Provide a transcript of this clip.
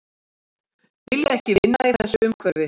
Vilja ekki vinna í þessu umhverfi